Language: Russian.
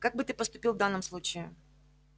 как бы ты поступил в данном случае